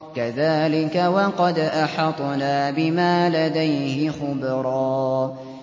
كَذَٰلِكَ وَقَدْ أَحَطْنَا بِمَا لَدَيْهِ خُبْرًا